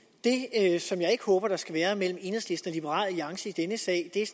er det som jeg ikke håber der skal være mellem enhedslisten og liberal alliance i denne sag er